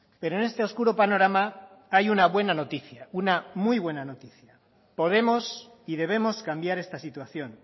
pero en este oscuro panorama hay una buena noticia una muy buena noticia podemos y debemos cambiar esta situación